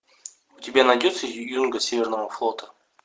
у тебя найдется юнга северного флота